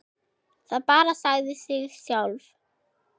Það bara sagði sig sjálft.